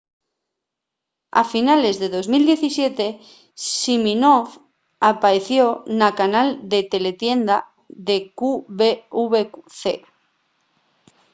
a finales de 2017 siminoff apaeció na canal de teletienda de qvc